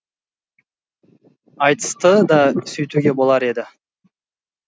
айтысты да сөйтуге болар еді